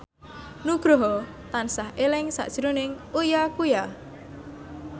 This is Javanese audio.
Nugroho tansah eling sakjroning Uya Kuya